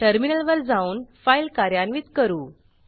टर्मिनलवर जाऊन फाईल कार्यान्वित करू